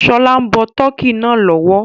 Ṣọlá ń bọ tọ́kì náà lọ́wọ́